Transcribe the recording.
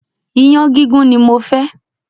Iyán gígún ni mofẹ́.